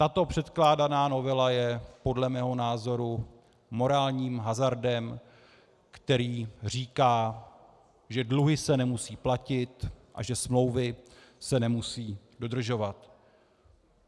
Tato předkládaná novela je podle mého názoru morálním hazardem, který říká, že dluhy se nemusí platit a že smlouvy se nemusí dodržovat.